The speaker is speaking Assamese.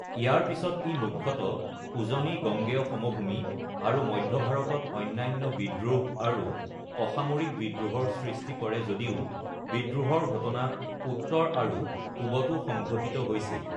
ইয়াৰ পিছত ই মুখ্যতঃ উজনি গংগেয় সমভূমি আৰু মধ্য ভাৰতত অন্যান্য বিদ্ৰোহ আৰু অসামৰিক বিদ্ৰোহৰ সৃষ্টি কৰে, যদিও বিদ্ৰোহৰ ঘটনা উত্তৰ আৰু পূবতো সংঘটিত হৈছিল।